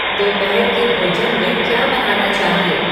दोपहर के भोजन में क्या बनाना चाहिए